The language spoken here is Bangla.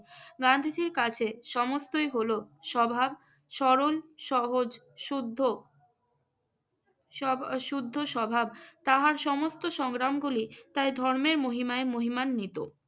গান্ধীজীর কাছে সমস্তই হলো স্বভাব সরল সহজ-শুদ্ধ স্বব~ শুদ্ধ স্বভাব। তাহার সমস্ত সংগ্রামগুলি তাই ধর্মের মহিমায় মহিমান্বিত।